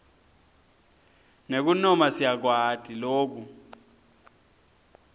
nekunoma siyakwati loku